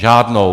Žádnou.